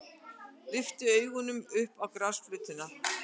Lyfti augunum upp á grasflötina.